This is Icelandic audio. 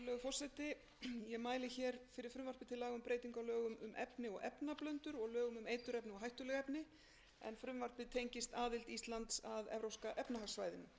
um breytingu á lögum um efni og efnablöndur og lög um eiturefni og hættuleg efni en frumvarpið tengist aðild íslands að evrópska efnahagssvæðinu